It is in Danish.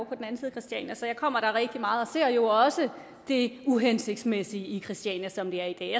christiania så jeg kommer der rigtig meget og ser jo også det uhensigtsmæssige i christiania som det er i